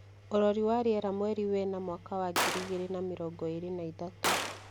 Ũrori wa riera rĩa mweri wena mwaka wa ngiri igĩrĩ na mĩrongo ĩrĩ na ithatũ